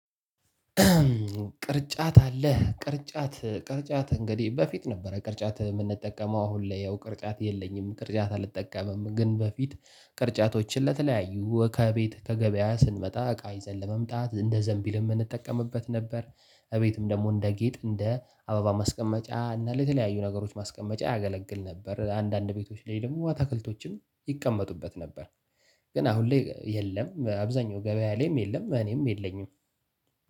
ቅርጫት አለህ ቅርጫት ቅርጫት እንግዲህ በፊት ነበረ ቅርጫት የምንጠቀመው አሁን ላይ ያው ቅርጫት የለኝም ቅርጫት አልጠቀምም ግን በፊት ቅርጫቶችን ለተለያዩ ከቤት ከገበያ ስንመጣ እቃ ይዘን ለመምጣት እንደ ዘንቢል የምንጠቀምበት ነበር። እቤትም ደግሞ እንደ ጌጥ እንደ አበባ ማስቀመጫ እና ለተለያዩ ነገሮች ማስቀመጫ ያገለግል ነበር አንዳንድ ቤቶች ላይ ደግሞ አትክልቶች ይቀመጡበት ነበር። ግን አሁን ላይ የለም አብዛኛው ገበያ ላይም የለም እኔም የለኝም።